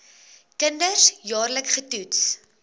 kinders jaarliks getoets